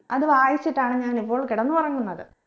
അത് വായിച്ചിട്ടാണ് ഞാൻ ഇപ്പോൾ കിടന്നുറങ്ങുന്നത്